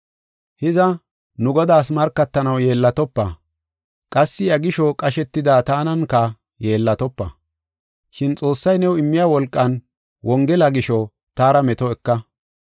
Hiza, nu Godaas markatanaw yeellatopa; qassi iya gisho qashetida tananka yeellatopa. Shin Xoossay new immiya wolqan Wongela gisho, taara meto eka.